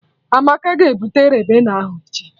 Amaka ga-ebute Ribena ahụ echi